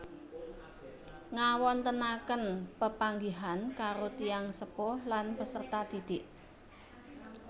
Ngawontenaken pepanggihan karo tiyang sepuh lan peserta didik